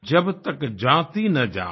जब तक जाति न जात